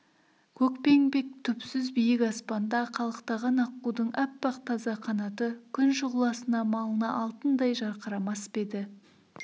көкпеңбек түпсіз биік аспанда қалықтаған аққудың аппақ таза қанаты күн шұғыласына малына алтындай жарқырамас па еді